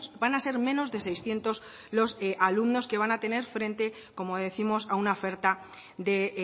van a ser menos de seiscientos los alumnos que van a tener frente como décimos a una oferta de